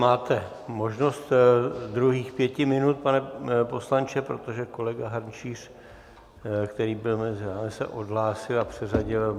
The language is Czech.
Máte možnost druhých pěti minut, pane poslanče, protože kolega Hrnčíř, který byl mezi vámi, se odhlásil a přeřadil.